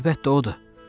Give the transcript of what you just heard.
Əlbəttə odur.